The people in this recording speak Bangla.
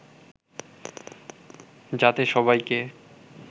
যাতে সবাইকে